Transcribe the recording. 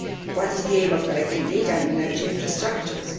What is the aim of collecting data on energy infrastructures?